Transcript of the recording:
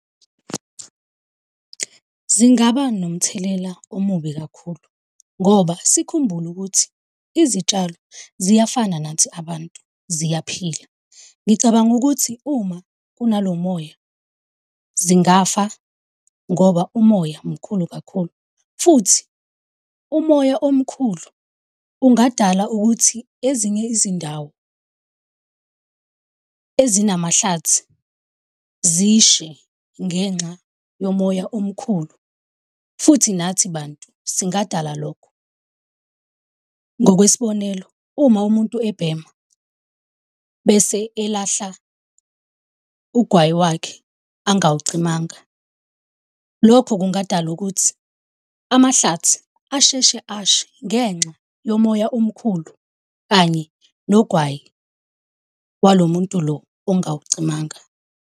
Zingaba nomthelela omubi kakhulu, ngoba sikhumbule ukuthi izitshalo ziyafana nathi abantu, ziyaphila. Ngicabanga ukuthi uma kunalo moya, zingafa ngoba umoya mkhulu kakhulu, futhi umoya omkhulu ungadala ukuthi ezinye izindawo zinamahlathi zishe ngenxa yomoya omkhulu, futhi nathi bantu singadala lokho. Ngokwesibonelo, uma umuntu ebhema, bese elahla ugwayi wakhe angawucimanga, lokho kungadala ukuthi amahlathi asheshe ashe ngenxa yomoya omkhulu kanye nogwayi walo muntu lo ongawucimanga.